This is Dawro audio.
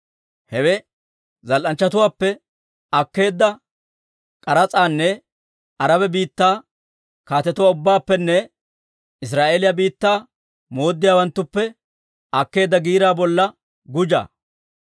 Hewe zal"anchchatuwaappe akkeedda k'aras'aanne Araba biittaa kaatetuwaa ubbaappenne Israa'eeliyaa biittaa mooddiyaawanttuppe akkeedda giiraa bolla gujjaa.